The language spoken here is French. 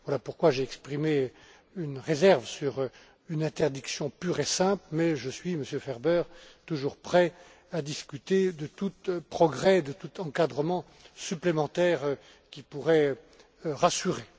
Voilà pourquoi j'ai exprimé une réserve sur une interdiction pure et simple, mais je suis, Monsieur Ferber, toujours prêt à discuter de tout progrès, de tout encadrement supplémentaire qui pourrait rassurer.